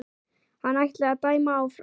Hann ætli að dæma áfram.